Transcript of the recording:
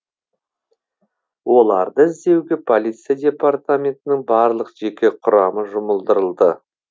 оларды іздеуге полиция департаментінің барлық жеке құрамы жұмылдырылды